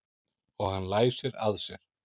Og hann læsir að sér.